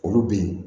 Olu bɛ ye